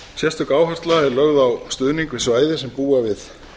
sérstök áhersla er lögð á stuðning við svæði sem búa við